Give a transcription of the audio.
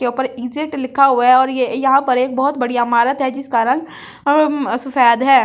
के ऊपर इजेट लिखा हुआ है और ये यहाँ पर एक बहुत बड़िया अमारत है जिसका रंग अम्म सफेेद है ।